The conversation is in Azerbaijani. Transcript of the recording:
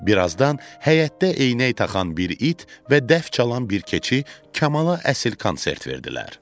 Bir azdan həyətdə eynək taxan bir it və dəf çalan bir keçi Kamala əsl konsert verdilər.